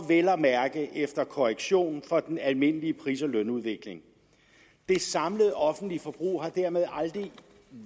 vel at mærke efter korrektion for den almindelige pris og lønudvikling det samlede offentlige forbrug har dermed aldrig